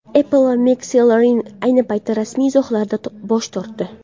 Apple va McLaren ayni paytda rasmiy izohlardan bosh tortdi.